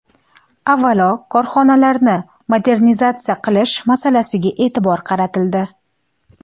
Avvalo, korxonalarni modernizatsiya qilish masalasiga e’tibor qaratildi.